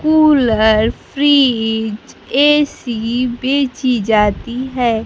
Cooler fridge AC बेची जाती है।